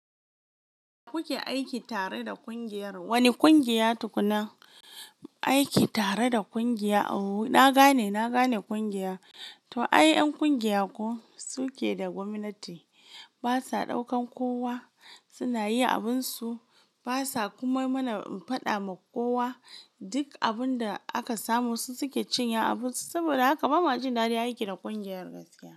Kuke aiki tare da kungiyar, wane kungiya tukuna aiki tare da ƙungiya? Ooo na gane, na gane ƙungiya. To, ai ƴan ƙungiya ko suke da gwamnati basa ɗaukan kowa suna yin abinsu basa kuma mana faɗa ma kowa duk abun da aka samu su suke cinye abunsu saboda haka bamu jin daɗin aiki da ƙungiyar gaskiya.